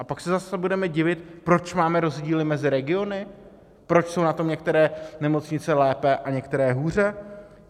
A pak se zase budeme divit, proč máme rozdíly mezi regiony, proč jsou na tom některé nemocnice lépe a některé hůře.